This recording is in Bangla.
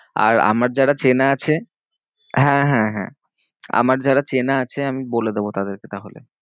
আর আমার যারা চেনা আছে হ্যাঁ হ্যাঁ হ্যাঁ আমার যারা চেনা আছে আমি বলে দেবো তাদেরকে তাহলে।